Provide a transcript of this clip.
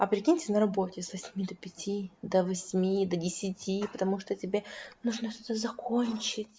а прикиньте на работе с восьми до пяти до восьми до десяти потому что тебе нужно что-то закончить